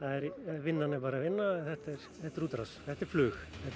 vinnan er bara vinna en þetta er þetta er útrás þetta er flug þetta er